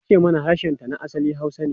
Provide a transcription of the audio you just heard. Ta ce mana harshenta na asali Hausa ne.